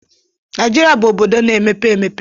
Naijiria bụ obodo na-emepe emepe.